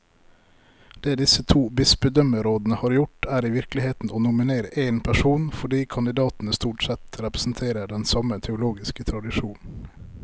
Det disse to bispedømmerådene har gjort, er i virkeligheten å nominere én person, fordi kandidatene stort sett representerer den samme teologiske tradisjon.